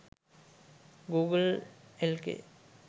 google lk